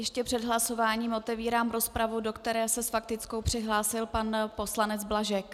Ještě před hlasováním otevírám rozpravu, do které se s faktickou přihlásil pan poslanec Blažek.